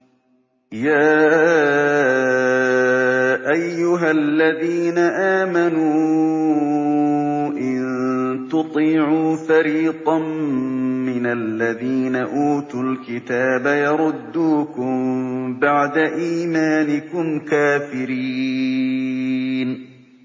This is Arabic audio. يَا أَيُّهَا الَّذِينَ آمَنُوا إِن تُطِيعُوا فَرِيقًا مِّنَ الَّذِينَ أُوتُوا الْكِتَابَ يَرُدُّوكُم بَعْدَ إِيمَانِكُمْ كَافِرِينَ